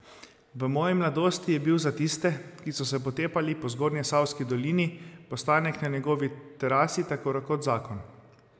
V moji mladosti je bil za tiste, ki so se potepali po Zgornjesavski dolini, postanek na njegovi terasi tako rekoč zakon.